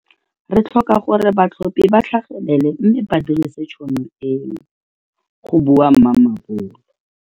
Re tlhoka gore batlhophi ba tlhagelele mme ba dirise tšhono e go bua Mamabolo.